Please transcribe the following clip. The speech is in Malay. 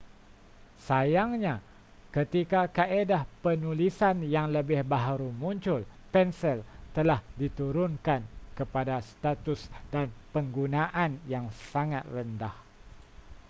sayangnya ketika kaedah penulisan yang lebih baharu muncul pensel telah diturunkan kepada status dan penggunaan yang sangat rendah